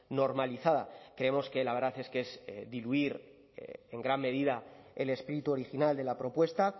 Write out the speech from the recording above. normalizada creemos que la verdad es que es diluir en gran medida el espíritu original de la propuesta